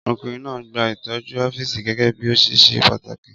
Ọkùnrin náà gba ìtọ́jú ọ́fíìsì gẹ́gẹ́ bí ó ṣe ṣe pàtàkì.